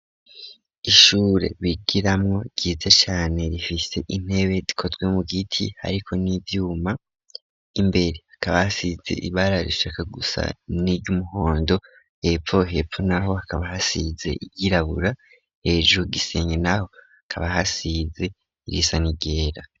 Ishure bigiramo ryize cyane rifise intebe dikotwe mu giti ariko n'ibyuma imbere akaba hasize ibara rishaka gusa n'iy'umuhondo epfo hepfo naho akaba hasize yirabura hejuru gisenge naho akaba hasize irisanigera.